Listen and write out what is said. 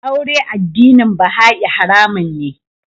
Aure addinin Baha'i haramun ne.